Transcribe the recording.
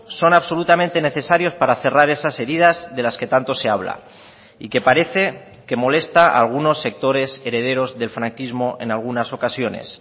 son absolutamente necesarios para cerrar esas heridas de las que tanto se habla y que parece que molesta a algunos sectores herederos del franquismo en algunas ocasiones